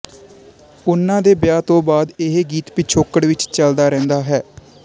ਉਹਨਾਂ ਦੇ ਵਿਆਹ ਤੋਂ ਬਾਅਦ ਇਹ ਗੀਤ ਪਿਛੋਕੜ ਵਿੱਚ ਚਲਦਾ ਰਹਿੰਦਾ ਹੈ